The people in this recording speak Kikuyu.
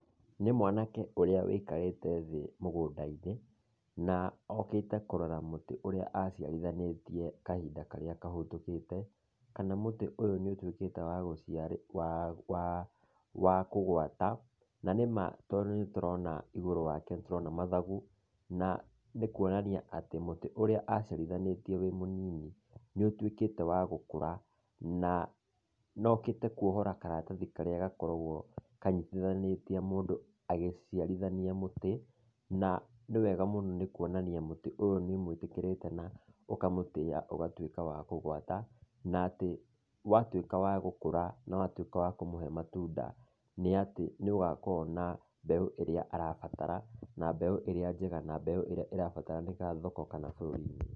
Nĩ mwanake ũrĩa wĩikarĩte thĩ mũgũnda-inĩ, na okĩte kũrora mũtĩ ũrĩa aciarithanĩtie kahinda karĩa kahĩtũkĩte, kana mũtĩ ũyũ nĩũtuĩkĩte wa gũciara waa waa waa kũgwata. Na nĩma tondũ nĩtũrona igũrũ wake nĩtũrona mathagu, na nĩkuonania atĩ mũtĩ ũrĩa aciarithanĩtie wĩ mũnini nĩũtuĩkĩte wa gũkũra, naa nokĩte kuohora karatathi karĩa gakoragwo kanyitithanĩtie mũndũ agĩciarithania mũtĩ, na nĩ wega mũno nĩ kuonania mũtĩ ũyũ nĩũmũĩtĩkĩrĩte na ũkamũtĩa ũgatuĩka wa kũgwata, na atĩ watuĩka wa gũkũra na watuĩka wa kũmũhe matunda, nĩatĩ nĩũgakorwo na mbeũ ĩrĩa arabatara, na mbeũ ĩrĩa njega na mbeũ ĩrĩa ĩrabataranĩka thoko kana bũrũri-inĩ.